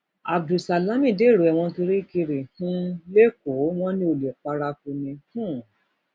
abdul salam dèrò ẹwọn kirikiri um lẹkọọ wọn ní olè paraku ni um